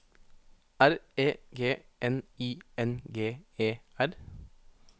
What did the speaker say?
R E G N I N G E R